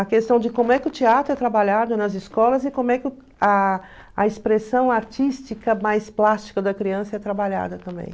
A questão de como é que o teatro é trabalhado nas escolas e como é que o a a expressão artística mais plástica da criança é trabalhada também.